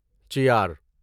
چیار